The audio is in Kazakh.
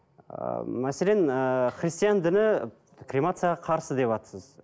ы мәселен ііі христиан діні кремацияға қарсы деватсыз